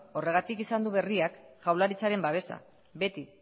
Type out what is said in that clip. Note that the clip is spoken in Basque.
horregatik izan du berriak jaurlaritzaren babesa beti